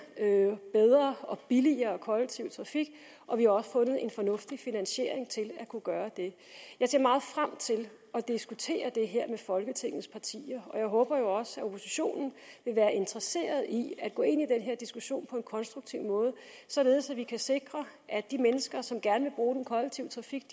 bedre og billigere kollektiv trafik og vi har også fundet en fornuftig finansiering til at kunne gøre det jeg ser meget frem til at diskutere det her med folketingets partier og jeg håber jo også at oppositionen vil være interesseret i at gå ind i den her diskussion på en konstruktiv måde således at vi kan sikre at de mennesker som gerne vil bruge den kollektive trafik